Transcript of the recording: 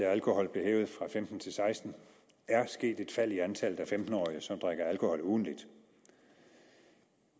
af alkohol blev hævet fra femten til seksten år er sket et fald i antallet af femten årige som drikker alkohol ugentligt